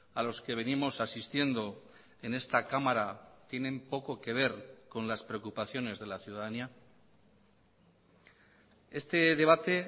a los que venimos asistiendo en esta cámara tienen poco que ver con las preocupaciones de la ciudadanía este debate